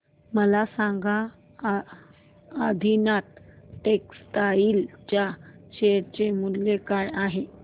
मला सांगा आदिनाथ टेक्स्टटाइल च्या शेअर चे मूल्य काय आहे